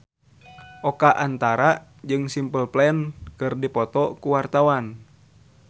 Oka Antara jeung Simple Plan keur dipoto ku wartawan